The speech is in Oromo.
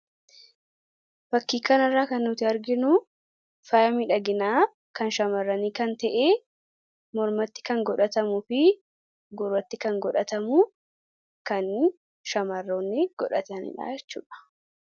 fakkii kanarraa kan nuti arginu faaya miidhaginaa kan shamarranii kan ta'ee mormatti kan godhatamu fi gurratti kan godhatamu kan shamaroonni godhatanidha jechuudha.